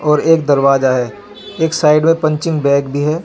और एक दरवाजा है एक साइड में पंचिंग बैग भी है.